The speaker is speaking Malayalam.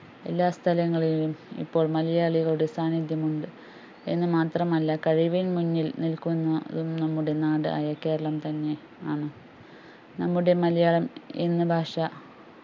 എല്ലാസ്ഥലങ്ങളിലും ഇപ്പോൾ മലയാളികളുടെ സാന്നിധ്യം ഉണ്ട് എന്ന് മാത്രം അല്ല കഴിവിൽ മുന്നിൽ നികുന്നതും നമ്മുടെ നാട് ആയ കേരളം തന്നെ ആണ്. നമ്മുടെ മലയാളം എന്ന ഭാഷാ